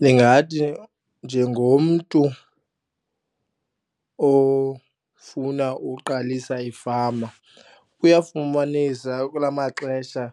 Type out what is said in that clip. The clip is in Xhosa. Ndingathi njengomntu ofuna uqalisa ifama kuyafumanisa kula maxesha